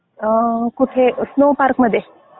कुठे snow park मध्ये.